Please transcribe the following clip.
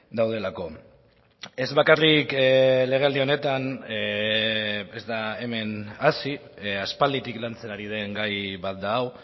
daudelako ez bakarrik legealdi honetan ez da hemen hasi aspalditik lantzen ari den gai bat da hau